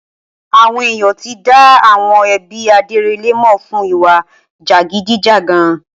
Awọn èyán ti dá àwọn ẹbí Adérẹlè mọ fún ìwà jàgídíjàgan